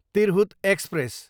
Tirhut express